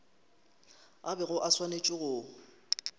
a bego a swanetše go